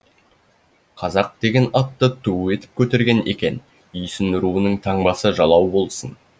қазақ деген атты ту етіп көтерген екен үйсін руының таңбасы жалау болсын